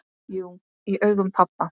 Jú, í augum pabba